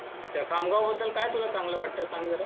अच्छा खामगाव बद्दल काय तुला चांगल वाटतं सांग जरा